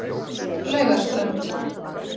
Laugarströnd